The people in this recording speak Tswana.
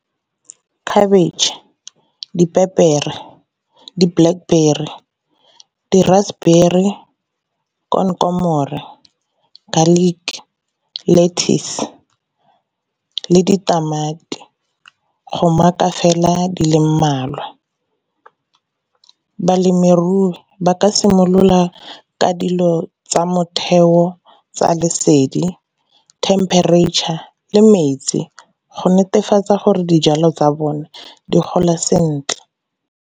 Cabbage, dipepere, di-blackberry, di-raspberry, , garlic, lettuce, le ditamati go mark-a fela di le mmalwa. Balemirui ba ka simolola ka dilo tsa motheo tsa lesedi, temperature, le metsi go netefatsa gore dijalo tsa bone di gola sentle.